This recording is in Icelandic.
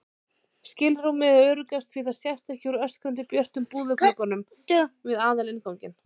skilrúmið er öruggast því það sést ekki úr öskrandi björtum búðarglugganum við aðalinnganginn.